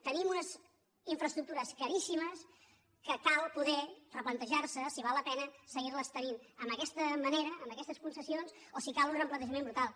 tenim unes infraestructures caríssimes que cal poder replan·tejar·se si val la pena seguir·les tenint amb aquestes concessions o si cal un replantejament brutal